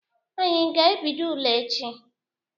Anyị aga ebido ule echi?